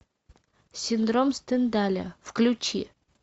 синдром стендаля включи